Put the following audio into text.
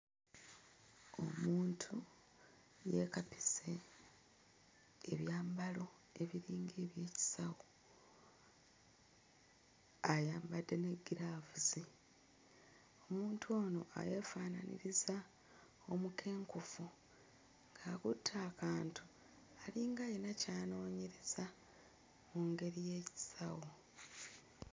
Omuntu yeekapise ebyambalo ebiringa ebyekisawo ayambadde ne ggiraavuzi. Omuntu ono uh yeefaanaanyiriza omukenkufu, akutte akantu alinga alina ky'anoonyereza mu ngeri y'ekisawo.